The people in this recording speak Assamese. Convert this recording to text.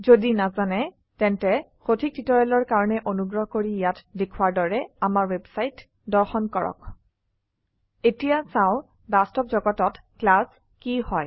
যদি নাজানে তেন্তে সঠিক টিউটৰিয়েলৰ কাৰনে অনুগ্ৰহ কৰি ইয়াত দেখোৱাৰ দৰে আমাৰ ৱেবছাইট দৰ্শন কৰক এতিয়া চাও বাস্তব জগতত ক্লাছ কি হয়